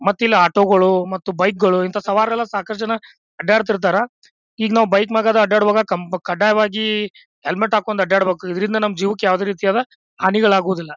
ಮತ್ತೆ ಇಲ್ಲಿ ಆಟೋ ಗಳು ಮತ್ತು ಬೈಕ್ ಗಳು ಇಂತ ಸವಾರರೆಲ್ಲ ಸಾಕಷ್ಟು ಜನ ಅಡ್ಡಾಡ್ತಿರ್ತಾರ. ಈಗ ನಾವು ಬೈಕ್ ಮ್ಯಾಗ ಅಡ್ಡಾಡುವಾಗ ಕಂ ಕಡ್ಡಾಯವಾಗಿ ಹೆಲ್ಮೆಟ್ ಹಾಕೊಂಡು ಅಡ್ಡಾಡಬೇಕು. ಇದರಿಂದ ನಮ್ಮ್ ಜೀವಕ್ಕೆ ಯಾವುದೇ ರೀತಿಯಾದ ಹಾನಿಗಳಾಗುವುದಿಲ್ಲ.